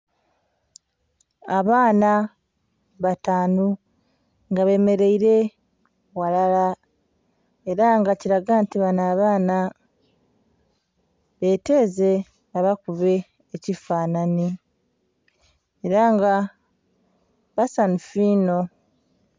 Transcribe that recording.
Abaana batanu nga bemereire ghalala era nga kilaga nti banho abaana beteeze babakube ekifananhi era nga basanhufu inho.